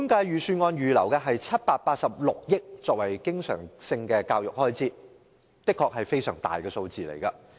預算案預留786億元作為教育的經常開支，這的確是非常大的數字。